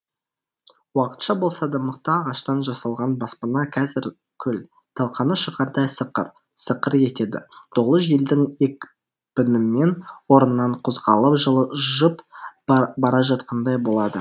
уақытша болса да мықты ағаштан жасалған баспана қазір күл талқаны шығардай сықыр сықыр етеді долы желдің екпінімен орнынан қозғалып жылжып бара жатқандай болады